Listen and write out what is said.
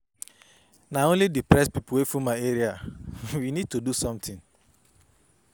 Na only depressed people wey full my area. We need to do something.